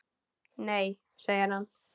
Nei segir hann.